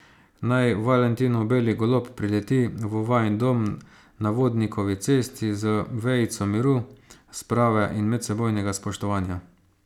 Naj valentinov beli golob prileti v vajin dom na Vodnikovi cesti z vejico miru, sprave in medsebojnega spoštovanja.